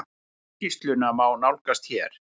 Skýrsluna má nálgast hér.